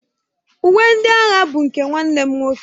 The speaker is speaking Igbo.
Uwe ndị agha bụ nke nwanne m nwoke.